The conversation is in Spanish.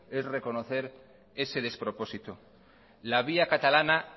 es reconocer ese despropósito la vía catalana